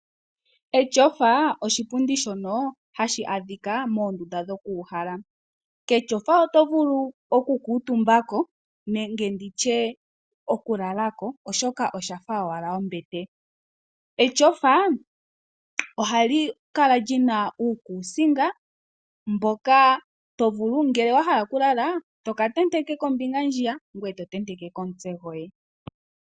Etyofa oshipundi shoka hashi adhika moondunda dhokuuhala, ketyofa oto vulu okukutumbako nenge nditye okulalako oshoka osha fa owala ombete. Etyofa ohali kala li na uukusinga uuna wa hala okulala toka tenteke kombinga ndjiya ngoye to tenteke ko omutse goye.